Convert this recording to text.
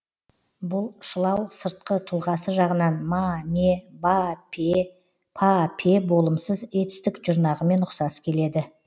бұл шылау сыртқы тұлғасы жағынан ма ме ба пе па пе болымсыз етістік жұрнағымен ұқсас келеді